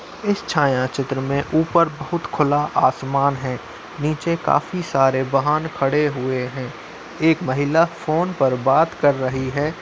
इस छाया चित्र में ऊपर बोहोत खुला आसमान है। नीचे काफी सारे वाहन खड़े हुए हैं। एक महिला फ़ोन पर बात कर रही है।